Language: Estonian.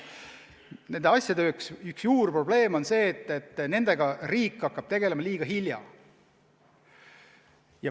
Nende asjade üks juurprobleem on see, et riik hakkab nendega tegelema liiga hilja.